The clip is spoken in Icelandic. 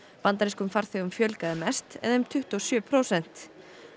bandarískum farþegum fjölgaði mest eða um tuttugu og sjö prósent